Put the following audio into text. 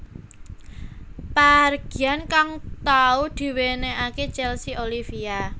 Pahargyan kang tau diwenehake Chelsea Olivia